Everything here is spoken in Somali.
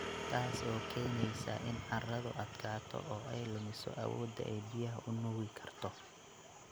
Taas oo keenaysa in carradu adkaato oo ay lumiso awoodda ay biyaha u nuugi karto.